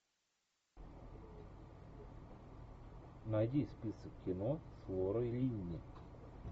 найди список кино с лорой линни